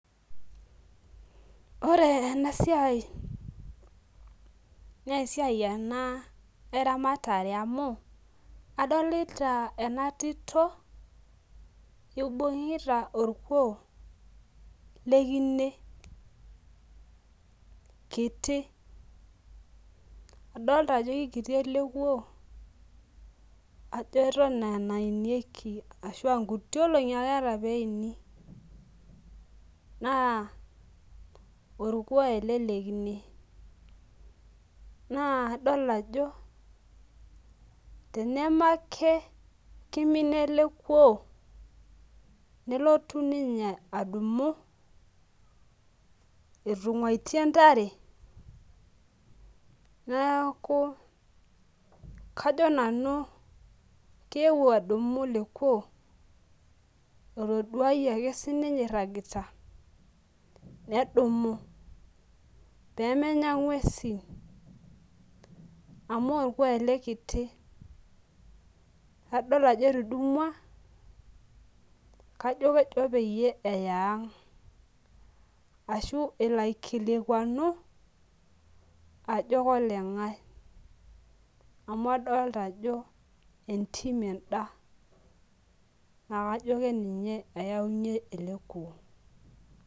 Ore ena siai naa esiai ena eramatare amu adolita ena tito ibung'ita orkuo lekine kiti adolta ajo kikiti ele kuo ajo eton aa enainyieki ashua nkuti olong'i akeeta peini naa orkuo ele lekine naa idol ajo teneme ake kimina ele kuo nelotu ninye adumu etung'uatie intare niaku kajo nanu keewuo adumu ele kuo otoduayie ake sininye irragita nedumu pemenya ing'uesin amu orkuo ele kiti adol ajo etudumua kajo kejo peyie eya ang ashu elo aikilikuanu ajo koleng'ae amu adolta ajo entim enda naa kajo keninye eyaunyie ele kuo.